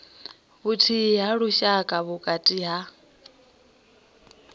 vhuthihi ha lushaka vhukati ha